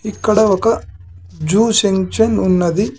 ఇక్కడ ఒక junction ఉన్నది .